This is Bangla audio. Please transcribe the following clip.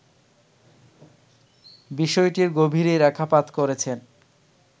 বিষয়টির গভীরে রেখাপাত করেছেন